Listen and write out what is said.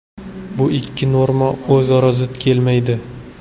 Bu ikki norma o‘zaro zid kelmaydi.